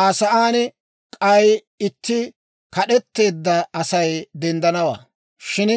«Aa sa'aan k'ay itti kad'etteedda Asay denddanawaa; shin